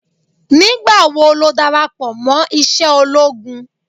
Nígbà wo darapọ̀ mọ́ iṣẹ́ ológun?